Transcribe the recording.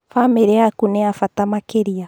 Bamĩri yaku nĩ ya bata makĩria